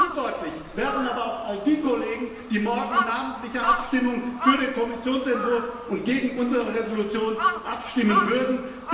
Verantwortlich wären aber auch all die Kollegen, die morgen in namentlicher Abstimmung für den Kommissionsentwurf und gegen unsere Entschließung abstimmen würden.